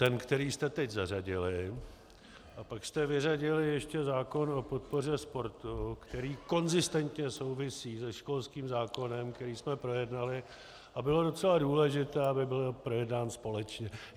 Ten, který jste teď zařadili, a pak jste vyřadili ještě zákon o podpoře sportu, který konzistentně souvisí se školským zákonem, který jsme projednali, a bylo docela důležité, aby byly projednány společně.